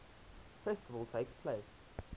festival takes place